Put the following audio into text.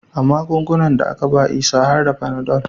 A magungunan da aka ba Isa har da Fanadol